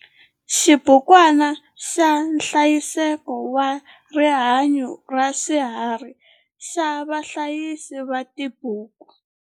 Xibukwana xa nhlayiseko wa rihanyo ra swiharhi xa vahlayisi va tibuku.